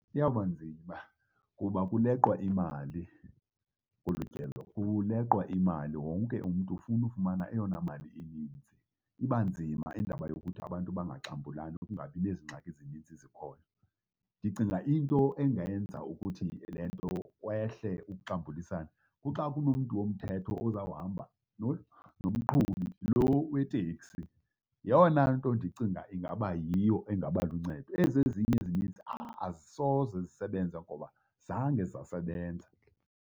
Iyawuba nzima kuba kuleqwa imali kolu tyelo, kuleqwa imali, wonke umntu ufuna ufumana eyona mali ininzi. Iba nzima indaba yokuthi abantu bangagxambulani, kungabi nezingxaki zininzi zikhoyo. Ndicinga into engenza ukuthi le nto kwehle ukuxambulisana, kuxa kunomntu womthetho ozawuhamba nomqhubi loo weteksi. Yeyona nto ndicinga ingaba yiyo engaba luncedo, ezi ezinye ezininzi azisoze zisebenze ngoba zange zasebenza.